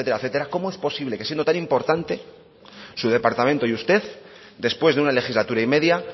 etcétera cómo es posible que siendo tan importante su departamento y usted después de una legislatura y media